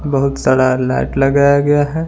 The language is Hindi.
बहुत सारा लाइट लगाया गया है।